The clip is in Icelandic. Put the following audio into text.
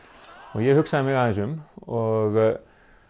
ég hugsaði mig aðeins um og